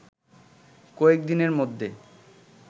কয়েক দিনের মধ্যে